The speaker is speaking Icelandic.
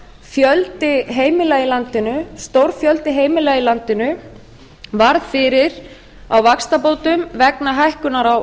fjöldi heimila í landinu stór fjöldi heimila í landinu varð fyrir á vaxtabótum vegna hækkunar á